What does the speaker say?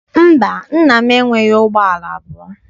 Mba, nna m enweghị ụgbọala abụọ.